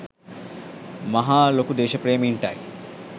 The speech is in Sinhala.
මහා ලොකු දේශප්‍රේමීන් ටයි